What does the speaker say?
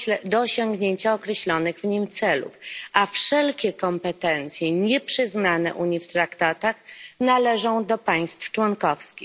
do osiągnięcia określonych w nich celów, a wszelkie kompetencje nieprzyznane Unii w traktatach należą do państw członkowskich.